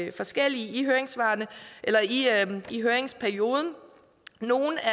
i forskellige høringssvar i høringsperioden nogle af